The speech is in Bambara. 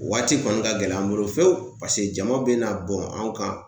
Waati kɔni ka gɛlɛn an bolo fewu paseke jama bɛ na bɔn an kan